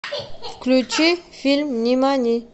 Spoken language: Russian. включи фильм нимани